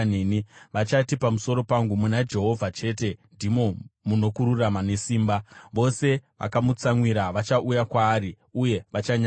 Vachati pamusoro pangu, ‘Muna Jehovha chete ndimo muno kururama nesimba.’ ” Vose vakamutsamwira vachauya kwaari uye vachanyadziswa.